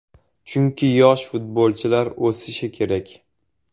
Chunki yosh futbolchilar o‘sishi kerak.